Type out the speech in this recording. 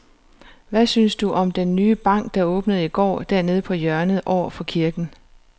Hvad synes du om den nye bank, der åbnede i går dernede på hjørnet over for kirken?